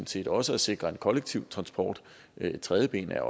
set også at sikre en kollektiv transport og et tredje ben er